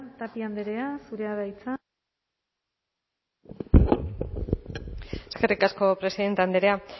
tapia andrea zurea da hitza eskerrik asko presidente andrea